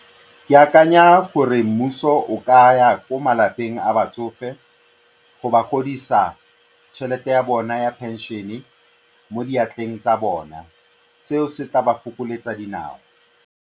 Ke akanya gore mmuso o ka ya ko malapeng a batsofe go ba godisa tšhelete ya bona ya pension-e mo diatleng tsa bona, seo se tla ba fokoletsa dinao.